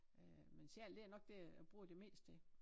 Øh men sjal det nok dér jeg bruger det mest ik